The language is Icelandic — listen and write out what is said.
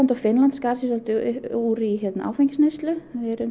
og Finnland skar sig svolítið úr í áfengisneyslu